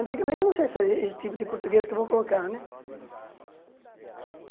Antigamente, não sei se é esse tipo de português que eu vou colocar, né?